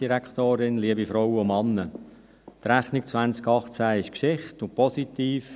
Die Rechnung 2018 ist Geschichte und positiv.